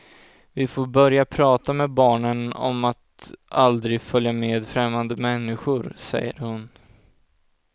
Vi får börja prata med barnen om att aldrig följa med främmande människor, säger hon.